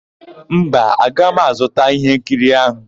Mba, aga m azụta íhénkiri áhụ̀.